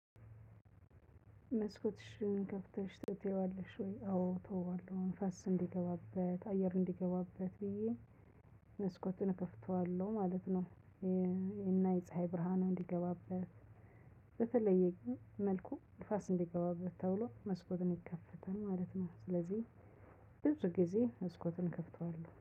መስኮትሽን ከፍተሽ ትተየዋለሽ ወይ? አዎ እተወዋለሁ ንፍስ እንዲገባበት አየር እንዲገባበት ብዬ መስኮቱን እከፍተዋለሁ ማለት ነው። እና የፀሀይ ብርሃን እንዲገባበት። በተለየ ግን መልኩ ንፋስ እንዲገባበት ተብሎ መስኮትን ይከፈታል ማለት ነው። ስለዚህ ብዙ ጊዜ መስኮቱን እከፍተዋለሁ